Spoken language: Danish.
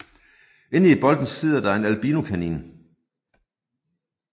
Inde i bolden sidder der en albinokanin